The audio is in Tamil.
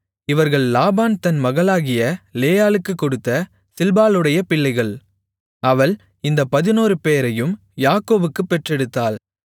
இவர்கள் லாபான் தன் மகளாகிய லேயாளுக்குக் கொடுத்த சில்பாளுடைய பிள்ளைகள் அவள் இந்தப் பதினாறுபேரையும் யாக்கோபுக்குப் பெற்றெடுத்தாள்